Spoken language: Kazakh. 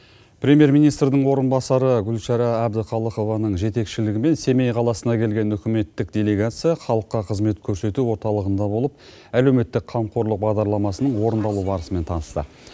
премьер министрдің орынбасары гулшара әбдіхалықованың жетекшілігімен семей қаласына келген үкіметтік делегация халыққа қызмет көрсету орталығында болып әлеуметтік қамқорлық бағдарламасының орындалу барысымен танысты